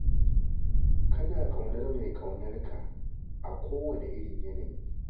Kana ƙaunar mai ƙaunar ka a kowane irin yanayi yake.